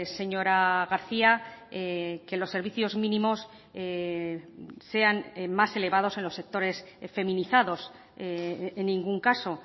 señora garcía que los servicios mínimos sean más elevados en los sectores feminizados en ningún caso